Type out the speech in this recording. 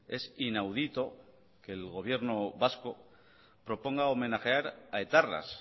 es inaudito que el gobierno vasco proponga homenajear a etarras